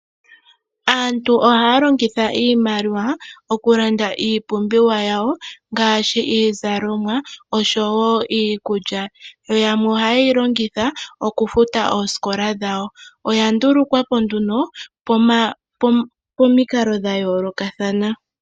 Aantu ohaya longitha iimaliwa okulanda iipumbiwa ngaashi iizalomwa osho wo iikulya. Yo yamwe ohaye yi longitha okufuta oosikola dhawo. Oya ndulukwa po nduno pomaludhi ga yoolokathana.